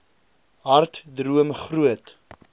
hard droom groot